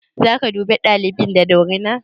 Za ka duke ɗalibin da dorina?